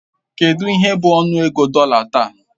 Kedụ ihe bụ ọnụego dollar taa?